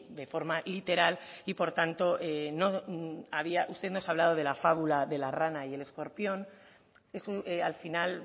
de forma literal y por tanto había usted nos ha hablado de la fábula de la rana y el escorpión eso al final